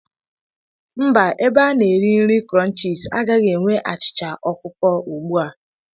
Mba, ebe a na-eri nri crunches agaghị enwe achịcha ọkụkọ ugbu a.